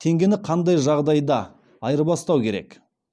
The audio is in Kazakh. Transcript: теңгені қандай жағдай да айырбастау керек